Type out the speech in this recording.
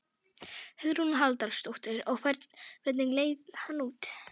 Hugrún Halldórsdóttir: Og hvernig leit hann út?